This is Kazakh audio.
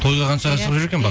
тойға қаншаға шығып жүр екен